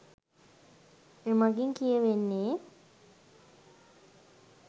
එමගින් කියවෙන්නේ